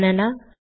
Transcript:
banana